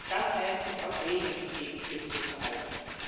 Das heißt, uns auch Regeln zu geben für dieses Verhalten.